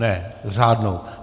Ne, s řádnou.